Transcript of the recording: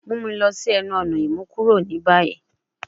Mu mi lọ si ẹnu-ọna imukuro ni bayi